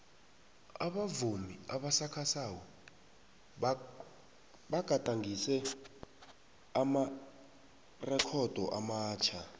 abavumi abasakhasako bagadangise amarekhodo amatjha